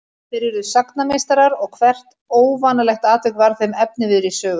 Þeir urðu sagnameistarar og hvert óvanalegt atvik varð þeim efniviður í sögur.